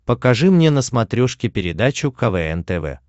покажи мне на смотрешке передачу квн тв